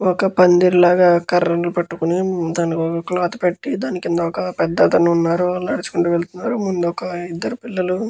ఒక పందిరి లాగా కర్రలు పట్టుకుని దానికి ఒక క్లాత్ పెట్టి ఒక పెద్దతను నడుచుకుంటూ వెళ్తున్నారు. ముందోక ఇద్దరు పిల్లలు--